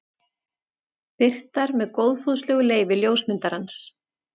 Birtar með góðfúslegu leyfi ljósmyndarans.